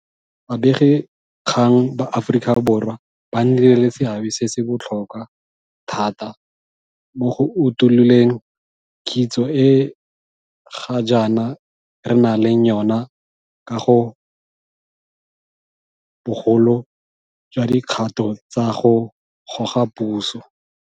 Babegakgang ba Aforika Borwa ba nnile le seabe se se botlhokwa thata mo go utuloleng kitso e ga jaana re nang le yona ka ga bogolo jwa dikgato tsa go goga puso.